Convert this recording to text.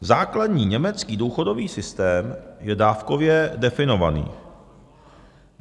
Základní německý důchodový systém je dávkově definovaný.